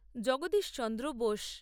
Jagadish Chandra Bose